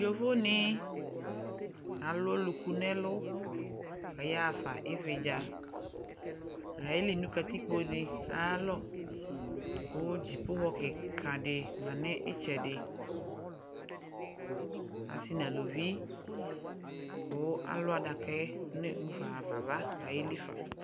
Yovo ne alu ɔluku nɛlu kaya fa ivedzaAye li no katikpo de ayalɔ ko dzipohɔ de ma nitsɛdeAse na aluvi ko alu adakɛ ne mufa hafa ava ka yeli fa